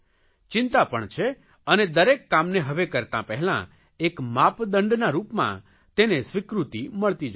ચિંતા પણ છે અને દરેક કામને હવે કરતા પહેલાં એક માપદંડના રૂપમાં તેને સ્વીકૃતિ મળતી જાય છે